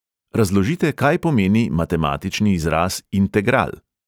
Razložite, kaj pomeni matematični izraz integral.